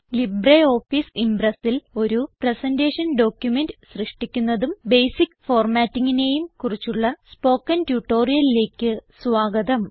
LibreOffice Impressൽ ഒരു presentation document സൃഷ്ടിക്കുന്നതും ബേസിക്ക് formattingനെയും കുറിച്ചുള്ള സ്പോകെൻ ട്യൂട്ടോറിയലിലേക്ക് സ്വാഗതം